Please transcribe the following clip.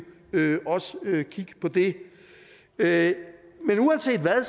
også kigge på det det men uanset hvad